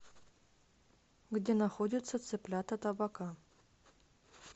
где находится цыплята табака